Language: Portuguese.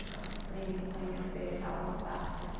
Ficar com os primos, conhecer e tal, voltar.